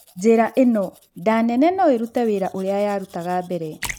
Njĩra ĩno, nda nene no ĩrute wĩra ũrĩa yarutaga mbere